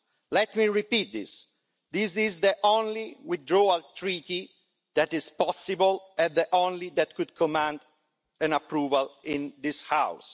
Let me repeat this this is the only withdrawal treaty that is possible and the only one that could command an approval in this House.